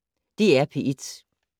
DR P1